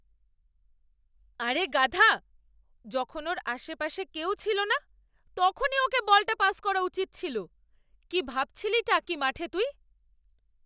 আরে গাধা! যখন ওর আশপাশে কেউ ছিল না, তখনই ওকে বলটা পাস করা উচিত ছিল। কী ভাবছিলিটা কী মাঠে তুই?